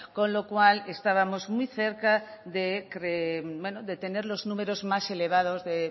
con lo cual estábamos muy cerca de tener los números más elevados de